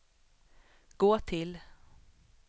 gå till